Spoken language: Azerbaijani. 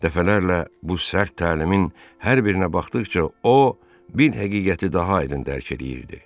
Dəfələrlə bu sərt təlimin hər birinə baxdıqca o, bir həqiqəti daha aydın dərk eləyirdi.